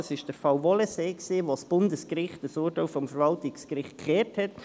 Dies war der Fall «Wohlensee», wo das Bundesgericht ein Urteil des Verwaltungsgerichts umgedreht hat.